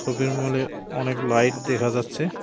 শপিংমলে অনেক লাইট দেখা যাচ্ছে।